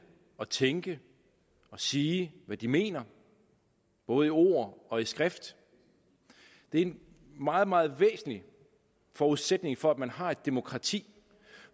at tænke og sige hvad de mener både i ord og i skrift det er en meget meget væsentlig forudsætning for at vi har et demokrati